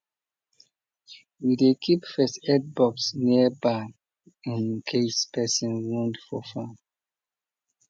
we dey keep first aid box near barn in case person wound for farm